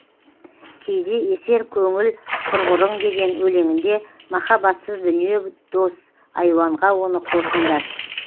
кейде есер көңіл құрғырың деген өлеңінде махаббатсыз дүние дос айуанға оны қосыңдар